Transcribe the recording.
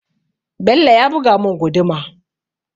Bello ya buga mun guduma